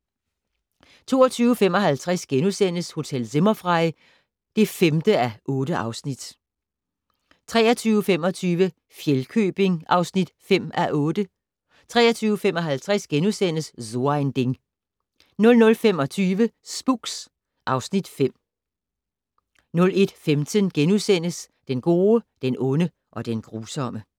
22:55: Hotel Zimmerfrei (5:8)* 23:25: Fjellkøbing (5:8) 23:55: So ein Ding * 00:25: Spooks (Afs. 5) 01:15: Den gode, den onde og den grusomme *